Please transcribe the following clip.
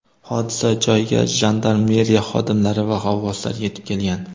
Hodisa joyiga jandarmeriya xodimlari va g‘avvoslar yetib kelgan.